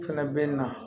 Fɛnɛ bɛ na